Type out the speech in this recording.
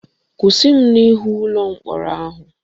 Kwụsị m n'ihu ụlọ mkpọrọ ahụ!